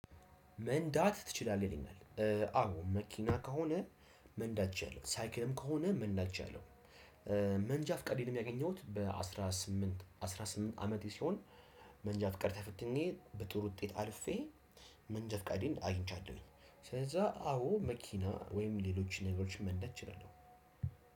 መንዳት ትችላለህ ይለኛል አው መኪና ከሆነ መንዳት እችላለው ሳይክልም ከሆነም መንዳት እችላለው። መንጃ ፍቃዴንም ያገኘሁት በአስራ ስምንት አስራ ስምንት አመቴ ሲሆን። መንጃ ፍቃድ ተፈትኜ በጥሩ ውጤት አልፌ መንጃ ፍቃዴን አግኝቻለሁኝ። ስለዛ አዎ መኪና ወይም ሌሎችን ነገሮችን መንዳት እችላለሁ።